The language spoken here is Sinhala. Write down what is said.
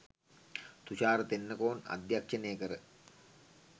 තුෂාර තෙන්නකෝන් අධ්‍යක්ෂණය කර